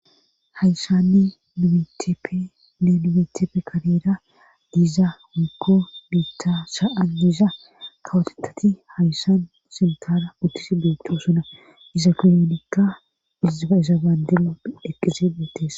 hayssanni numeteppe nne nimetefe kabeera diiza hukko biitta sa7an diiza kawotetati hayssan sintaara utis beetto suna iza kinoonikka izaisa baandelu eqqizebetes